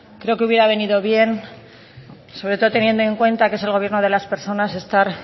creo que hubiera venido bien sobre todo teniendo en cuenta que es el gobierno de las personas estar